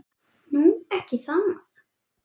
Nú. ekki það?